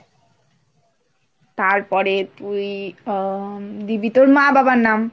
তারপরে তুই উম দিবি তোর মা বাবার নাম।